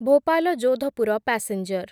Bhopal Jodhpur passenger